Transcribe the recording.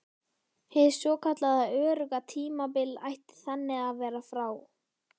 Hið svokallað örugga tímabil ætti þannig að vera frá